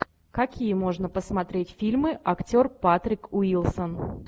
какие можно посмотреть фильмы актер патрик уилсон